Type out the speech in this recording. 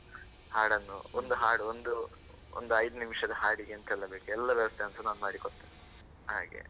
ಹಾಡನ್ನು ಒಂದು ಹಾಡು ಒಂದು ಒಂದ್ ಐದು ನಿಮಿಷದ ಹಾಡಿಗೆ ಎಂತೆಲ್ಲಾ ಬೇಕು ಎಲ್ಲ ವ್ಯವಸ್ಥೆಯನ್ನು ಸಹ ನಾನು ಮಾಡಿ ಕೊಡ್ತೇನೆ, ಹಾಗೆ.